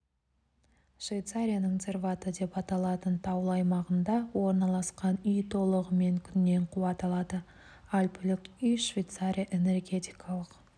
швейцарияның цервате деп аталатын таулы аймағында орналасқан үй толығымен күннен қуат алады альпілік үй швейцария энергетикалық